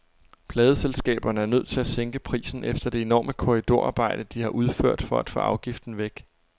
Pladeselskaberne er nødt til at sænke prisen efter det enorme korridorarbejde, de har udført for at få afgiften væk.